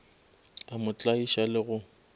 a mo tlaiša le go